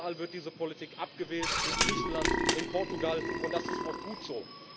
Überall wird diese Politik abgewählt in Griechenland, in Portugal ,und das ist auch gut so.